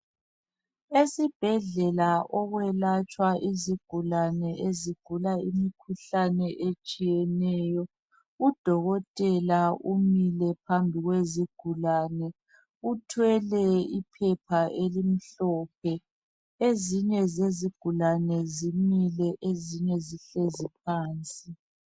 Esibhedlela okwelatshwa izigulane ezigula imikhuhlane etshiyeneyo. Udokotela umile phambili kwezigulane uthwele iphepha elimhlophe, ezinye zezigulane zimile ezinye zihlezi phansi.